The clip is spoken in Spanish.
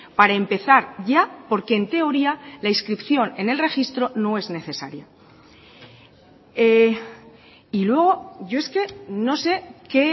para empezar ya porque en teoría la inscripción en el registro no es necesaria y luego yo es que no sé qué